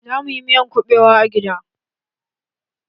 Za mu yi miyan kuɓewa a gida